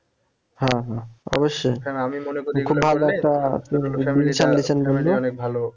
হ্যাঁ হ্যাঁ অবশ্যই খুব ভালো একটা